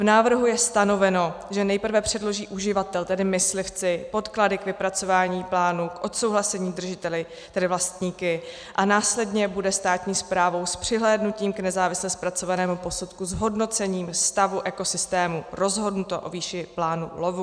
V návrhu je stanoveno, že nejprve předloží uživatel, tedy myslivci, podklady k vypracování plánů k odsouhlasení držiteli, tedy vlastníky, a následně bude státní správou s přihlédnutím k nezávisle zpracovanému posudku s hodnocením stavu ekosystému rozhodnuto o výši plánu lovu.